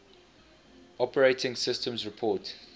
operating systems report